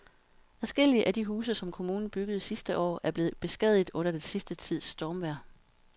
Adskillige af de huse, som kommunen byggede sidste år, er blevet beskadiget under den sidste tids stormvejr.